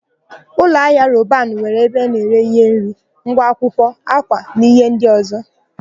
Ụlọahịa Robanu nwere ebe a na-ere íhé nri, ngwa akwụkwọ, ákwà na íhé ndị ọ̀zọ́.